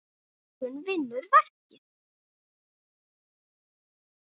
Björgun vinnur verkið.